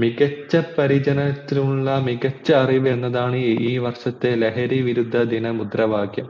മികച്ച പരിചരനത്തിനുള്ള മികച്ച അറിവ് എന്നതാണ് ഈ വർഷത്തെ ലഹരി വിരുദ്ധ ദിനാ മുദ്രാ വാക്യം